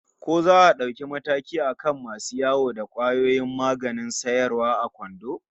Ko za a dauki mataki akan masu yawo da kwayoyin maganin sayarwa a kwando?